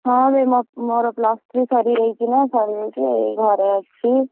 ହଁ ବେ, ମୋର, plus three ସାରିଯାଇଛି ନା ସାରିଯାଇଛି ଘରେ ଅଛି।